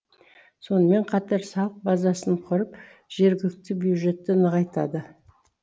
сонымен қатар салық базасын құрып жергілікті бюджетті нығайтады